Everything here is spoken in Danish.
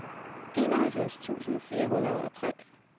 enoghalvfems tusind fire hundrede og tre